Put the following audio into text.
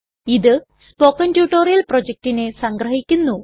ഇത് spoken tutorial പ്രൊജക്റ്റിനെ സംഗ്രഹിക്കുന്നു